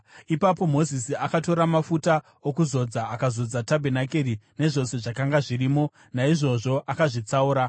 Ipapo Mozisi akatora mafuta okuzodza akazodza tabhenakeri nezvose zvakanga zvirimo, naizvozvo akazvitsaura.